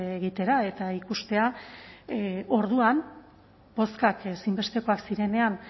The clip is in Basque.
egitera eta ikustea orduan bozkak ezinbestekoak zirenean